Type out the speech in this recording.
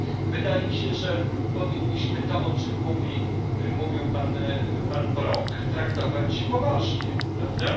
Wydaje mi się, że powinniśmy to, o czym mówi mówił poseł Brok traktować poważnie prawda?